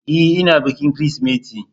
E, ina bikin Kirsimeti.